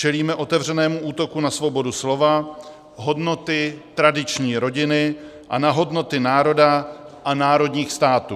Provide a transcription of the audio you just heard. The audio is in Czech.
Čelíme otevřenému útoku na svobodu slova, hodnoty tradiční rodiny a na hodnoty národa a národních států.